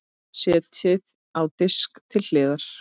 Setjið á disk til hliðar.